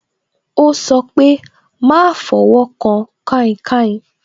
Ó sọ pé "máa fọwọ́ kan kainkain"